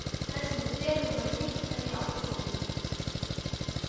Þessi með derhúfuna nikkaði í áttina til mín.